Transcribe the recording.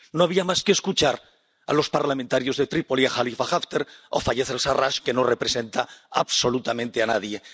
No había más que escuchar a los parlamentarios de Trípoli, Jalifa Haftar o Fayez al Sarraj, que no representa absolutamente a nadie.